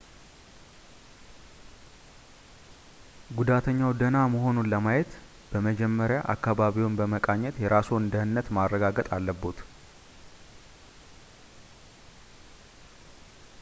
ጉዳተኛው ደህና መሆኑን ለማየት በመጀመሪያ አካባቢውን በመቃኘት የራስዎን ደህነት ማረጋገጥ አለብዎት